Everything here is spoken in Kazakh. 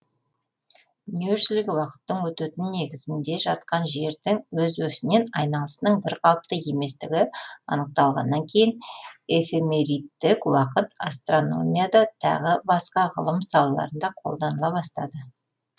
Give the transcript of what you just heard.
дүниежүзілік уақыттың өтетін негізінде жатқан жердің өз осінен айналысының бірқалыпты еместігі анықталғаннан кейін эфемеридтік уақыт астрономияда тағы басқа ғылым салаларында қолданыла бастады